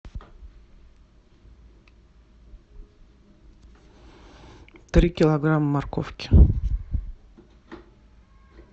три килограмма морковки